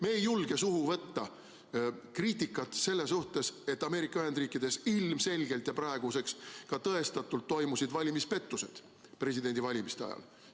Me ei julge suhu võtta kriitikat selle suhtes, et Ameerika Ühendriikides ilmselgelt ja praeguseks ka tõestatult toimusid presidendivalimiste ajal valimispettused.